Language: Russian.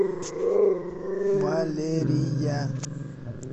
валерия